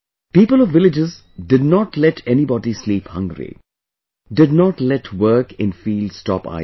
People of villages did not let anybody sleep hungry, did not let work in fields stop either